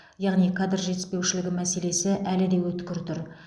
яғни кадр жетіспеушілігі мәселесі әлі де өткір тұр